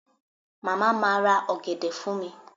Mama ma ra ogede fun mi